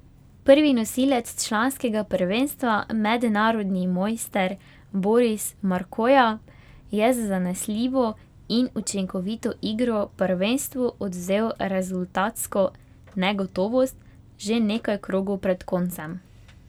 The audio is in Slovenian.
Prvi nosilec članskega prvenstva, mednarodni mojster Boris Markoja, je z zanesljivo in učinkovito igro prvenstvu odvzel rezultatsko negotovost že nekaj krogov pred koncem.